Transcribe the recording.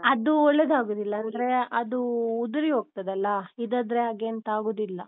ಅದು ಒಳ್ಳೆದಾಗುದಿಲ್ಲ, ಅಂದ್ರೆ ಅದು ಉದುರಿಹೋಗ್ತದಲ್ಲ ಇದಾದ್ರೆ ಹಾಗೆ ಎಂತ ಆಗುದಿಲ್ಲ.